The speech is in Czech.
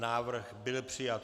Návrh byl přijat.